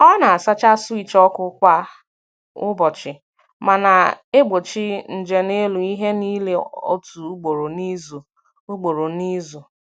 Ọ na-asacha switch ọkụ kwa ụbọchị, ma na-egbochi nje n’elu ihe niile otu ugboro n’izu. ugboro n’izu.